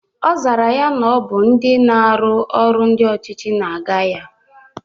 Ọ zara ya na Ọ bụ ndị na-arụ ọrụ ndị ọchịchị na-aga ya